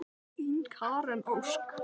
Þín, Karen Ósk.